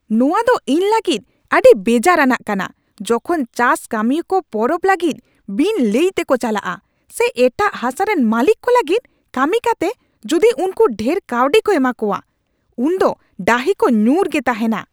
ᱱᱚᱶᱟ ᱫᱚ ᱤᱧ ᱞᱟᱹᱜᱤᱫ ᱟᱹᱰᱤ ᱵᱮᱡᱟᱨᱟᱱᱟᱜ ᱠᱟᱱᱟ ᱡᱚᱠᱷᱚᱱ ᱪᱟᱥ ᱠᱟᱹᱢᱤᱭᱟᱹ ᱠᱚ ᱯᱚᱨᱚᱵ ᱞᱟᱹᱜᱤᱫ ᱵᱤᱱ ᱞᱟᱹᱭᱛᱮᱠᱚ ᱪᱟᱞᱟᱜᱼᱟ ᱥᱮ ᱮᱴᱟᱜ ᱦᱟᱥᱟᱨᱮᱱ ᱢᱟᱹᱞᱤᱠ ᱠᱚ ᱞᱟᱹᱜᱤᱫ ᱠᱟᱹᱢᱤ ᱠᱟᱛᱮ ᱡᱩᱫᱤ ᱩᱱᱠᱩ ᱰᱷᱮᱨ ᱠᱟᱹᱣᱰᱤ ᱠᱚ ᱮᱢᱟᱠᱚᱣᱟ ᱾ ᱩᱱᱫᱚ ᱰᱟᱹᱦᱤ ᱠᱚ ᱧᱩᱨᱩ ᱜᱮ ᱛᱟᱦᱮᱱᱟ ᱾